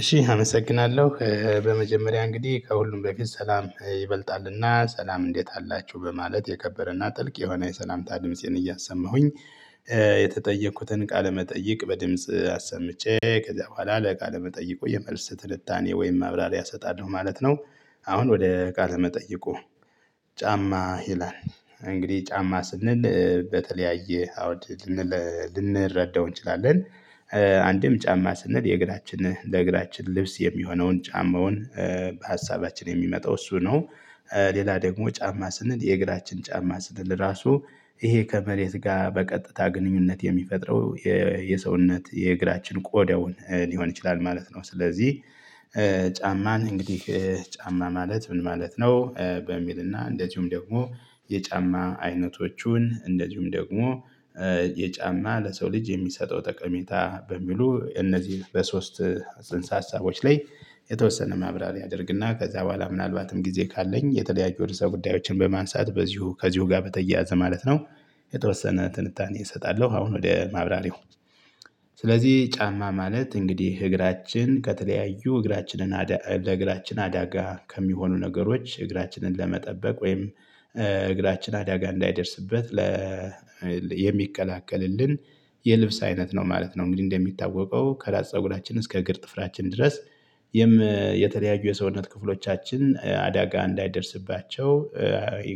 እሺ አመሰግናለሁ በመጀመሪያ እንግዲህ ከሁሉም በፊት ሰላም ይበልጣልና ሰላም እንዴት አላችሁ በማለት የከበረና ጥልቅ የሆነ የሰላምታ ድምጽን እያሰማሁኝ። የተጠየኩትን ቃለመጠየቅ በድምጽ አሰምቼ ከዛ በኋላ ለቃለ መጠይቁ የመልስ ትንታኔ ወይም ማብራሪያ አሰጣለሁ ማለት ነው። አሁን ወደ ቃለ መጠይቁ? ጫማ ይላል። እንግዲህ ጫማ ስንል በተለያየ አውድ ልንረዳው እንችላለን። አንድም ጫማ ስንል የእግራችን ለእግራችን ልብስ የሚሆነውን ጫማውን በሀሳባችን የሚመጣው እሱ ነው። ሌላ ደግሞ ጫማ ስንል የእግራችን ጫማ ስንል ራሱ ይሄ ከመሬት ጋር በቀጥታ ግንኙነት የሚፈጥረው የሰውነት የእግራችን ቆዳውን ሊሆን ይችላል ማለት ነው። ስለዚህ ጫማን እንግዲህ ጫማ ማለት ምን ማለት ነው? በሚልና እንደዚሁም ደግሞ የጫማ አይነቶቹን እንደዚሁም ደግሞ የጫማ ለሰው ልጅ የሚሰጠው ጠቀሜታ በሚሉ እነዚህ በሶስት ጽንሰ ሀሳቦች ላይ የተወሰነ ማብራሪያ አደርግና ከዛ በኋላ ምናልባትም ጊዜ ካለኝ የተለያዩ ርዕሰ ጉዳዮችን በማንሳት በዚሁ ከዚሁ ጋር በተያያዘ ማለት ነው። የተወሰነ ትንታኔ እሰጣለሁ አሁን ወደ ማብራሪው። ስለዚህ ጫማ ማለት እንግዲህ እግራችን ከተለያዩ እግራችንን ለእግራችን አዳጋ ከሚሆኑ ነገሮች እግራችንን ለመጠበቅ ወይም እግራችን አዳጋ እንዳይደርስበት ለ የሚከላከልልን የልብስ አይነት ነው ማለት ነው። እንግዲህ እንደሚታወቀው ከራስ ፀጉራችን እስከ እግር ጥፍራችን ድረስ። የተለያዩ የሰውነት ክፍሎቻችን አዳጋ እንዳይደርስባቸው።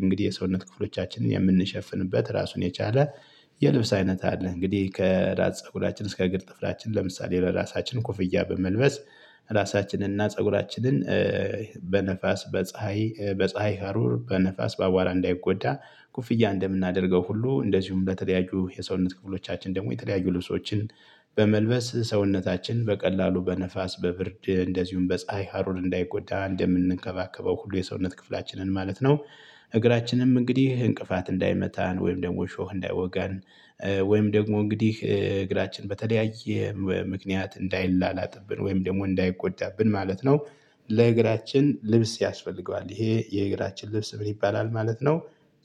እንግዲህ የሰውነት ክፍሎቻችንን የምንሸፍንበት ራሱን የቻለ የልብስ አይነት አለ። እንግዲህ ከራስ ፀጉራችን እስከ እግር ጥፍራችን ለምሳሌ ለራሳችን ኮፍያ በመልበስ ራሳችንን እና ፀጉራችንን በነፋስ በፀሀይ በፀሀይ ሀሩር በነፋስ በአቧራ እንዳይጎዳ። ኮፍያ እንደምናደርገው ሁሉ እንደዚሁም በተጠያዩ የሰውነት ክፍሎቻችን ደግሞ የተለያዩ ልብሶችን በመልበስ ሰውነታችን በቀላሉ በነፋስ በብርድ እንደዚሁም በፀሀይ ሃሩር እንዳይጎዳ እንደምንከባከበው ሁሉ የሰውነት ክፍላችንን ማለት ነው። እግራችንም እንግዲህ እንቅፋት እንዳይመታን ወይም ደግሞ እሾህ እንዳይወጋን ወይም ደግሞ እንግዲህ እግራችን በተለያየ ምክንያት እንዳይላላጥብን ወይም ደግሞ እንዳይጎዳብን ማለት ነው። ለእግራችን ልብስ ያስፈልገዋል ይሄ የእግራችን ልብስ ምን ይባላል ማለት ነው?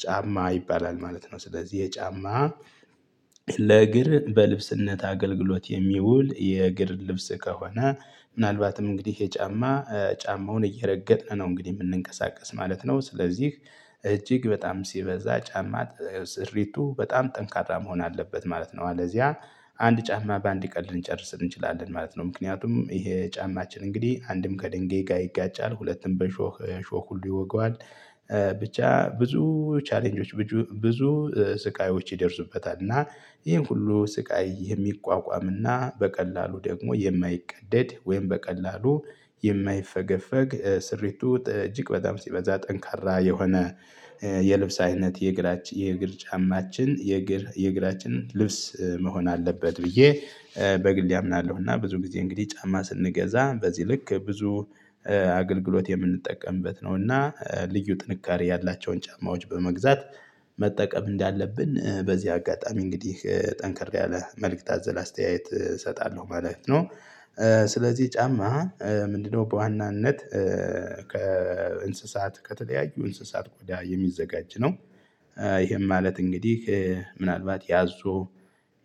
ጫማ ይባላል ማለት ነው። ስለዚህ የጫማ ለእግር በልብስነት አገልግሎት የሚውል የእግር ልብስ ከሆነ ምናልባትም እንግዲህ የጫማ ጫማውን እየረገጥን ነው እንግዲህ የምንንቀሳቀስ ማለት ነው። ስለዚህ እጅግ በጣም ሲበዛ ጫማ ስሪቱ በጣም ጠንካራ መሆን አለበት ማለት ነው። አለዚያ አንድ ጫማ በአንድ ቀን ልንጨርስ እንችላለን ማለት ነው። ምክንያቱም ይሄ ጫማችን እንግዲህ አንድም ከድንገት ጋር ይጋጫል ሁለትም በሾህ ሁሉ ይወጋዋል። ብቻ ብዙ ቻሌንጆች ብዙ ስቃዮች ይደርሱበታል። እና ይሄን ሁሉ ስቃይ የሚቋቋምና በቀላሉ ደግሞ የማይቀደድ ወይም በቀላሉ የማይፈገፈግ ስሪቱ እጅግ በጣም ሲበዛ ጠንካራ የሆነ። የልብስ አይነት የእግራች የእግር ጫማችን የእግር የእግራችን ልብስ መሆን አለበት ብዬ በግሌ አምናለሁ። እና ብዙ ጊዜ እንግዲህ ጫማ ስንገዛ በዚህ ልክ ብዙ አገልግሎት የምንጠቀምበት ነው። እና ልዩ ጥንካሬ ያላቸውን ጫማዎች በመግዛት መጠቀም እንዳለብን በዚህ አጋጣሚ እንግዲህ ጠንክር ያለ መልእክት አዘል አስተያየት እሰጣለሁ ማለት ነው። ስለዚህ ጫማ ምንድነው? በዋናነት ከእንስሳት ከተለያዩ እንስሳት ቆዳ የሚዘጋጅ ነው። ይሄም ማለት እንግዲህ ምናልባት ያዞ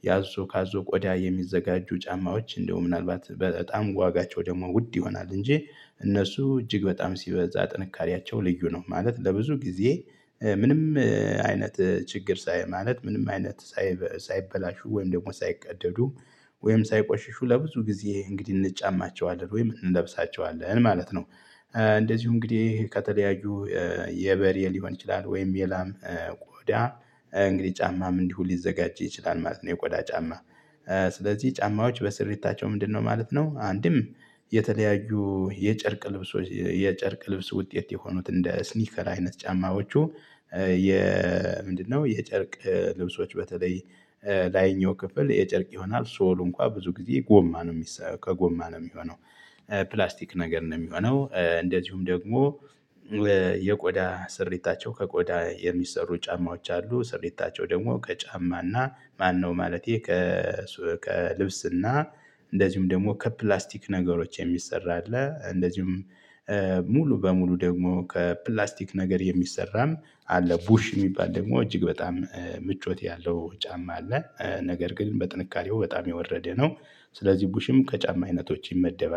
ያዞ ካዞ ቆዳ የሚዘጋጁ ጫማዎች እንደውም ምናልባት በጣም ዋጋቸው ደግሞ ውድ ይሆናል እንጂ እነሱ እጅግ በጣም ሲበዛ ጥንካሬያቸው ልዩ ነው ማለት ለብዙ ጊዜ። ምንም አይነት ችግር ሳይ ማለት ምንም አይነት ሳይበላሹ ወይም ደግሞ ሳይቀደዱ ወይም ሳይቆሽሹ ለብዙ ጊዜ እንግዲህ እንጫማቸዋለን ወይም እንለብሳቸዋለን ማለት ነው። እንደዚሁ እንግዲህ ከተለያዩ የበሬ ሊሆን ይችላል ወይም የላም ቆዳ እንግዲህ ጫማም እንዲሁ ሊዘጋጅ ይችላል ማለት ነው። የቆዳ ጫማ። ስለዚህ ጫማዎች በስር በስሪታቸው ምንድነው ማለት ነው? አንድም የተለያዩ የጨርቅ ልብሶች የጨርቅ ልብስ ውጤት የሆኑት እንደ ስኒከር አይነት ጫማዎቹ። የ ምንድነው? የጨርቅ ልብሶች በተለይ ላይኛው ክፍል የጨርቅ ይሆናል ሶሉ እንኳን ብዙ ጊዜ ጎማ ነው የሚሰራው ከጎማ ነው የሚሆነው። ፕላስቲክ ነገር ነው የሚሆነው። እንደዚሁም ደግሞ የቆዳ ስሪታቸው ከቆዳ የሚሰሩ ጫማዎች አሉ። ስሪታቸው ደግሞ ከጫማና ማነው ማለቴ ከልብስና እንደዚሁም ደግሞ ከፕላስቲክ ነገሮች የሚሰራ አለ። እንደዚሁም ሙሉ በሙሉ ደግሞ ከፕላስቲክ ነገር የሚሰራም አለ። ቡሽ የሚባል ደግሞ እጅግ በጣም ምቾት ያለው ጫማ አለ። ነገር ግን በጥንቃቄው በጣም የወረደ ነው። ስለዚህ ቡሽም ከጫማ አይነቶች ይመደባል